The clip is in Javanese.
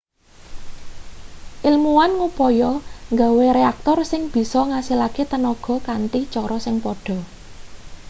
ilmuwan ngupaya nggawe reaktor sing bisa ngasilake tenaga kanthi cara sing padha